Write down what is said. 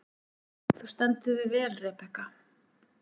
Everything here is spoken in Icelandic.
Þú stendur þig vel, Rebekka!